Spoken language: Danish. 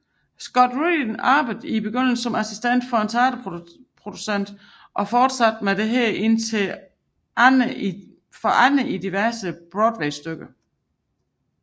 Scott Rudin arbejde i begyndelse som assistent for en teaterproducer og fortsatte med dette under andre i diverse broadwaystykker